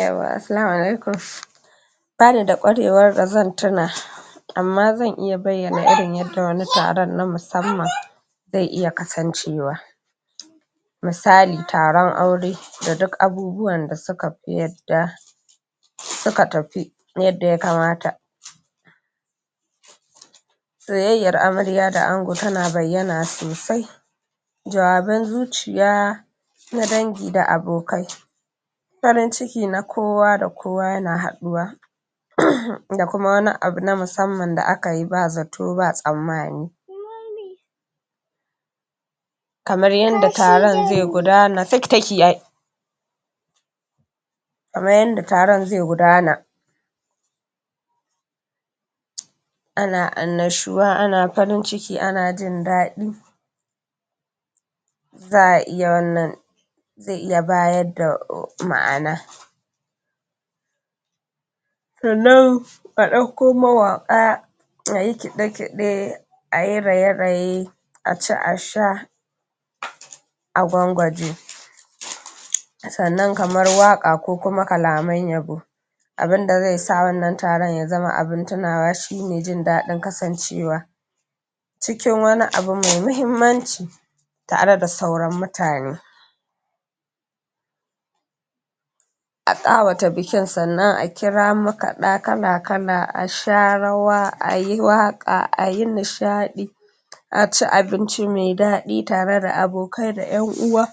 Yauwa, Assalamu alaikum. Bani da ƙwarewar da zan tuna amma zan iya bayyana irin yadda wani taron na musamman zai iya kasancewa. Misali taron aure da duk abubuwan da suka fi yadda suka tafi yadda ya kamata. Soyayyar amarya da ango tana bayyana sosai, jawaban zuƙiya na dangi da abokai, farin ciki na kowa da kowa yana haɗuwa da kuma wani abu da aka yi na musamman ba zato ba tsammani kamar yadda taron zai gudana kamar yadda taron zai gudana ana annashuwa, ana farin ciki, ana jin daɗi za’a iya wannan zai iya ba da ma’ana sannan a ɗauko mawaƙa a yi kide-kide, a yi raye-raye, a ci a sha a gwangwaje. Sannan kamar waƙa ko kuma kalaman yabo, abin da zai sa wannan taron ya zama abin tunawa shine jin daɗin kasancewa cikin wani abu mai muhimmanci tare da sauran mutane a ƙawata bikin sannan a kira makaɗa kala-kala, a sha rawa, a yi waƙa, a yi nishaɗi, a ci abinci mai daɗi tare da abokai da ’yan uwa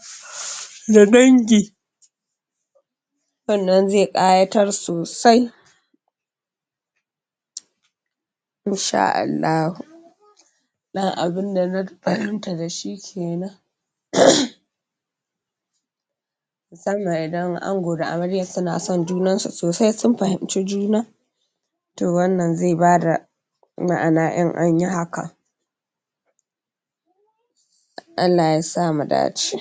da dangi, wannan zai ƙayatar sosai in sha Allahu. Ɗan abin da na fahimta da shi kenan musamman idan ango da amaryan suna son junansu sosai sun fahimci juna to wannan zai ba da ma’ana in an yi haka Allah yasa mu dace.